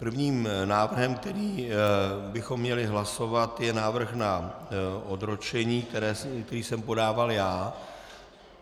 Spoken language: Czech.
Prvním návrhem, který bychom měli hlasovat, je návrh na odročení, který jsem podával já.